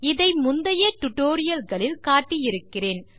இதை முந்தைய டியூட்டோரியல் களில் காட்டி இருக்கிறேன்